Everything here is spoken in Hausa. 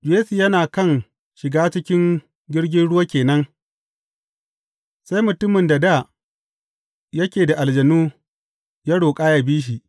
Yesu yana kan shiga cikin jirgin ruwa ke nan, sai mutumin da dā yake da aljanun ya roƙa yă bi shi.